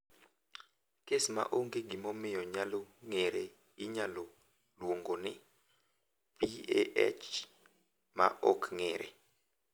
"Kes ma onge gimomiyo nyalo ng’ere inyalo luongo ni ""PAH ma ok ng'ere""."